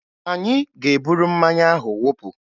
Anyị ga-eburu mmanya ahụ wụpụ